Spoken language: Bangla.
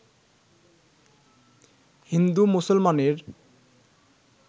হিন্দু মুসলমানের